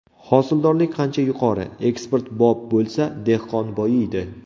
Hosildorlik qancha yuqori, eksportbop bo‘lsa, dehqon boyiydi.